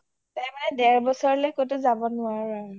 মানে দেৰ বছৰলে ক’তো যাব নোৱাৰো আৰু